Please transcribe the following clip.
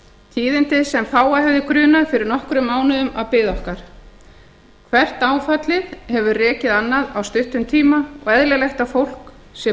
tíðindi sem fáa hefði grunað fyrir nokkrum mánuðum að biði okkar hvert áfallið hefur rekið annað á stuttum tíma og eðlilegt að fólki sé